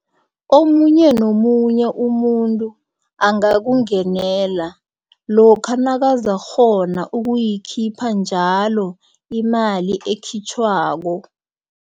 Omunye nomunye umuntu angakungenela lokha nakazakghona ukuyikhipha njalo imali ekhitjhwako.